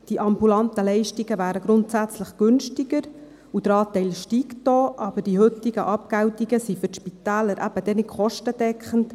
Die ambulanten Leistungen wären grundsätzlich günstiger, und der Anteil steigt auch, aber die heutigen Abgeltungen sind für die Spitäler eben dann nicht kostendeckend.